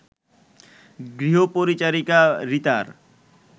গৃহপরিচারিকা রিতার